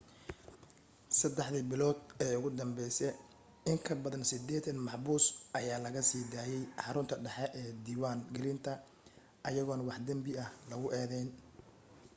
3 bilood ee ugu danbese in kabadan 80 maxbuus ayaa laga sii daayay xarunta dhaxe ee diwaan gelinta ayagoon wax danbi ah lagu edeyn